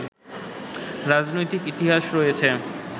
রাজনৈতিক ইতিহাস রয়েছে